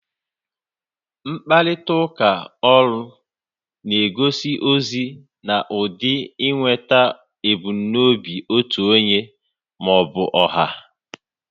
Mkparịta ụka ọrụ na egosi ozi na ụdị inweta ebumnobi otu onye maọbụ ọha